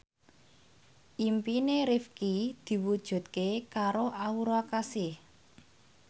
impine Rifqi diwujudke karo Aura Kasih